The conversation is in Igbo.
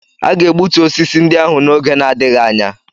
A ga-egbutu osisi ndị ahụ n'oge na-adịghị anya